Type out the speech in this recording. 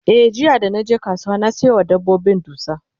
e jiya da naje kasuwa na Sayo wa dabbobin dusa